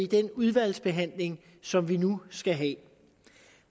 den udvalgsbehandling som vi nu skal have